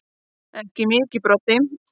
Ekki mikið Broddi.